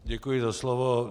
Děkuji za slovo.